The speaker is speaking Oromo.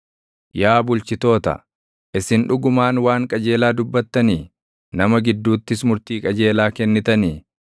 Yaa bulchitoota, isin dhugumaan waan qajeelaa dubbattanii? Nama gidduuttis murtii qajeelaa kennitanii?